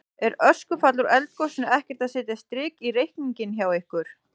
Er öskufall úr eldgosinu ekkert að setja strik í reikninginn hjá ykkur?